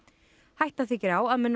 hætta þykir á að með